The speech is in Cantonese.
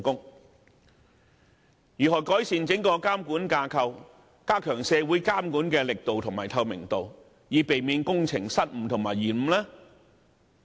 有關方面應如何改善整個監管架構及加強社會監管的力度和透明度，從而避免工程的失誤和延誤？